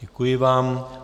Děkuji vám.